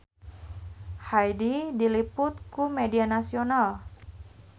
Hyde diliput ku media nasional